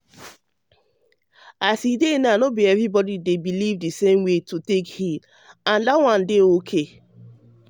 as e dey um no be everybody um believe the same way to take heal and that one um dey okay.